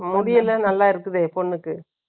முடியெல்லாம் நல்லா இருக்குதே, பொண்ணுக்கு